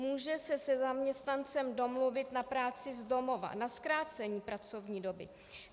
Může se se zaměstnancem domluvit na práci z domova, na zkrácení pracovní doby.